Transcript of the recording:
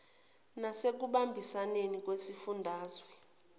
nase kubambisaneni kwezifundazwe